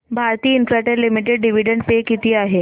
Bharti Infratel limited dividend पे किती आहे